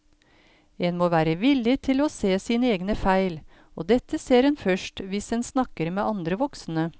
En må være villig til å se sine egne feil, og dette ser en først hvis en snakker med andre voksne.